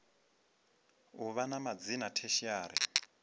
u vha na madzina tertiary